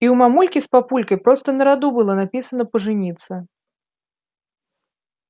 и у мамульки с папулькой просто на роду было написано пожениться